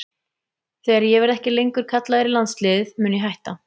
Þegar ég verði ekki lengur kallaður í landsliðið mun ég hætta.